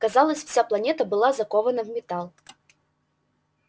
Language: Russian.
казалось вся планета была закована в металл